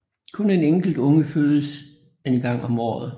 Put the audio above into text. Kun en enkelt unge fødes en gang om året